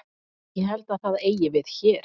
Ég held að það eigi við hér.